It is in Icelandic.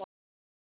Heldur tvær.